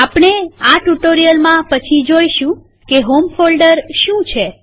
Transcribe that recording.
આપણે આ ટ્યુ્ટોરીઅલમાં પછી જોઈશું કે હોમ ફોલ્ડર શું છે